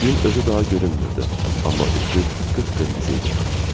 Gün özü daha görünmürdü, amma üfüq qıpqırmızı idi.